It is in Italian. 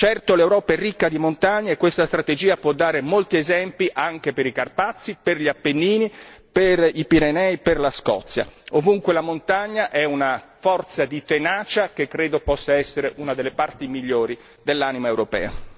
Certo, l'Europa è ricca di montagne, questa strategia può dare molti esempi anche per i Carpazi, per gli Appennini, per i Pirenei, per la Scozia, ovunque la montagna è una forza di tenacia che credo possa essere una delle parti migliori dell'anima europea.